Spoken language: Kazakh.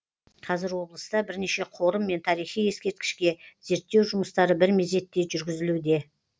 қазір облыста бірнеше қорым мен тарихи ескерткішке зерттеу жұмыстары бір мезетте жүргізілуде